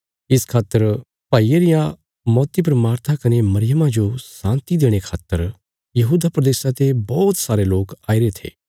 इस खातर भाईये रिया मौती पर मार्था कने मरियमा जो शान्ति देणे खातर यहूदा प्रदेशा ते बौहत सारे लोक आईरे थे